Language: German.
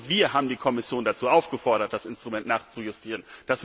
Und wir haben die Kommission dazu aufgefordert, das Instrument nachzujustieren.